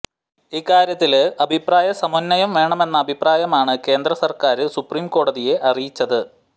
ഇക്കാര്യത്തില് അഭിപ്രായ സമന്വയം വേണമെന്ന അഭിപ്രായമാണ് കേന്ദ്ര സര്ക്കാര് സുപ്രിം കോടതിയെ അറിയിച്ചത്